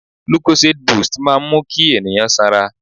Lucozade boost máa ń mú kí ènìyàn sanra.